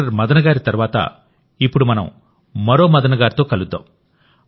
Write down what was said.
doctor Madan గారి తర్వాతఇప్పుడు మనం మరో మదన్ గారితో కలుద్దాం